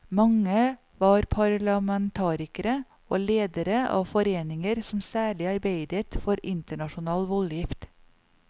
Mange var parlamentarikere og ledere av foreninger som særlig arbeidet for internasjonal voldgift.